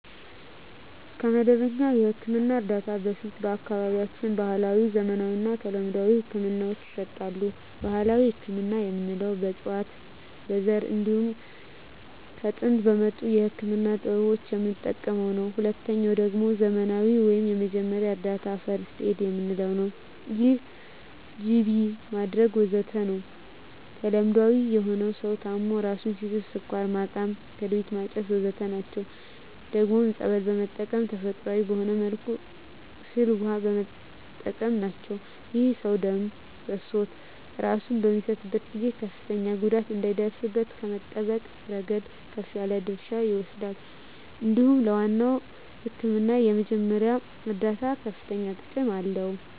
ከመደበኛ የሕክምና እርዳታ በፊት በአካባቢያችን ባህለዊ፣ ዘመናዊና ተለምዷዊ ህክምናወች ይሰጣሉ። ባህላዊ ህክምና የምንለዉ በእፅዋት በዛር እንዲሁም ከጥንት በመጡ የህክምና ጥበቦች የምንጠቀመዉ ነዉ። ሁለተኛዉ ደግሞ ዘመናዊ ወይም የመጀመሪያ እርዳታ(ፈርክት ኤድ) የምንለዉ ነዉ ይህም ጅቢ ማድረግ ወዘተ ናቸዉ። ተለምዳዊ የሆኑት ሰዉ ታሞ እራሱን ሲስት ስኳር ማቃም ክርቢት ማጨስ ወዘተ ናቸዉ። ደግሞም ፀበል በመጠመቅ ተፈጥሮአዊ በሆነ መልኩ ፍል ዉሃ በመጠቀም ናቸዉ። ይህም ሰዉ ደም ፈሶት እራሱን በሚስትበት ጊዜ ከፍተኛ ጉዳት እንዳይደርስበት ከመጠበቅ እረገድ ከፍ ያለ ድርሻ ይወስዳል እንዲሁም ለዋናዉ ህክምና የመጀመሪያ እርዳታ ከፍተኛ ጥቅም አለዉ።